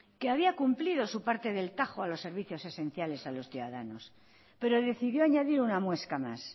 que había cumplido su parte del tajo a los servicios esenciales a los ciudadanos pero decidió añadir una muesca más